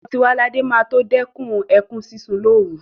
Ọmọ Tiwaladé máa tó dẹ́kun ẹkún sísun lóru.